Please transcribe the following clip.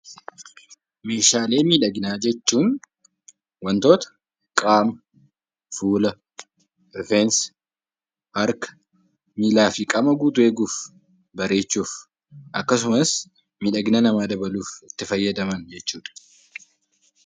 Meeshaalee miidhaginaa jechuun wantoota qaama, fuula, rifeensa, harka, miilaa fi qaama guutuu eeguuf, bareechuuf, akkasumas miidhagina namaa dabaluuf itti fayyadaman jechuu dha.